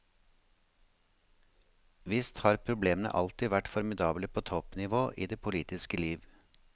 Visst har problemene alltid vært formidable på toppnivå i det politiske liv.